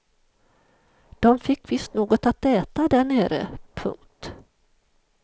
De fick visst något att äta där nere. punkt